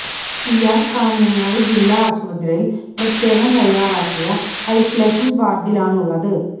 ഇയാൾ കാഞ്ഞങ്ങാട് ജില്ലാ ആശുപത്രിയിൽ പ്രത്യേകം തയ്യാറാക്കിയ ഐസലേഷൻ വാർഡിലാണുള്ളത്